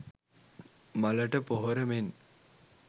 මලට පොහොර මෙන්